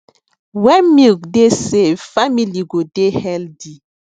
when milk dey safe family go dey healthy